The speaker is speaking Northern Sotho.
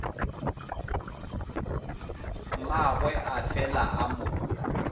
mmagwe a fela a mo